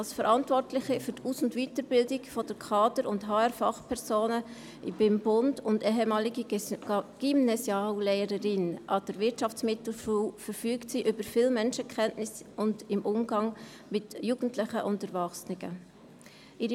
Als Verantwortliche für die Aus- und Weiterbildung der Kader- und HR-Fachpersonen beim Bund und ehemalige Gymnasiallehrerin an der Wirtschaftsmittelschule verfügt sie über viel Menschenkenntnis und ist im Umgang mit Jugendlichen und Erwachsenen versiert.